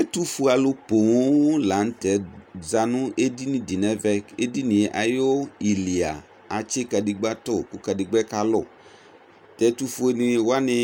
Ɛtʋfue alʋ la nʋ tɛ za nʋ edini dɩ nʋ ɛvɛ Edini yɛ ayʋ ili a, atsɩ kadegbǝ tʋ kʋ kadegbǝ yɛ kalʋ Tʋ ɛtʋfuenɩ wanɩ